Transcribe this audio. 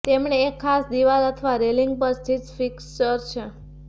તેમણે એક ખાસ દીવાલ અથવા રેલિંગ પર સ્થિત ફિક્સ્ચર છે